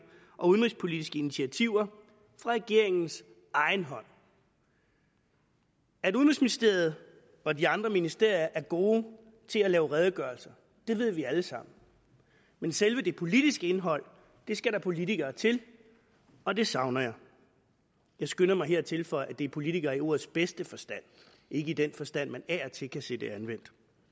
og udenrigspolitiske initiativer fra regeringens egen hånd at udenrigsministeriet og de andre ministerier er gode til at lave redegørelser ved vi alle sammen men selve det politiske indhold skal der politikere til og det savner jeg jeg skynder mig her at tilføje at det er politikere i ordets bedste forstand ikke i den forstand man af og til kan se det anvendt